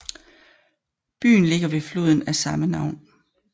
Byen ligger ved floden af samme navn